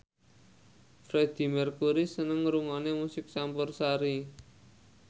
Freedie Mercury seneng ngrungokne musik campursari